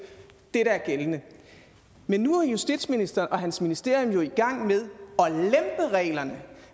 det der er gældende men nu er justitsministeren og hans ministerium jo i gang med at lempe reglerne